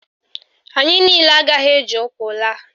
Anyị niile agaghị eji ụkwụ laa.